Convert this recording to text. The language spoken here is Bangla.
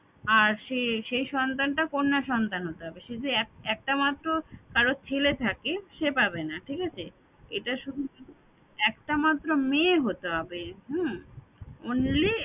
আর সেই সেই সন্তানটা কন্যা সন্তান হতে হবে শুধু এক একটামাত্র কারো ছেলে থাকে সে পাবে না ঠিক আছে এটা শুধু মে~ একটামাত্র মেয়ে হতে হবে হম only